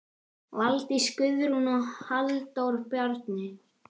Valdís Guðrún og Halldór Bjarni.